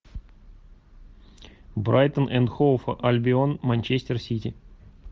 брайтон энд хоув альбион манчестер сити